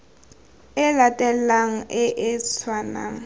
e latelanang e e tshwanang